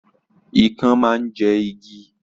Ikán máa ń jẹ igi